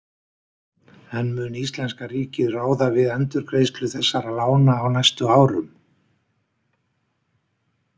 En mun íslenska ríkið ráða við endurgreiðslu þessara lána á næstu árum?